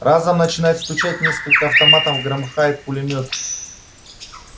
разом начинают стучать несколько автоматов громыхает пулемёт